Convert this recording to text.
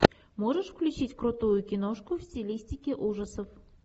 можешь включить крутую киношку в стилистике ужасов